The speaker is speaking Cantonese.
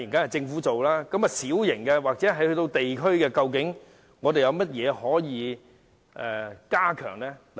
但是，就小型或地區性舉措方面，有甚麼可以加強的呢？